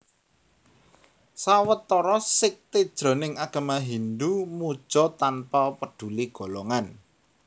Sawetara sékté jroning agama Hindhu muja tanpa peduli golongan